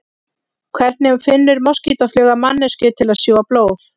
Hvernig finnur moskítófluga manneskju til að sjúga blóð?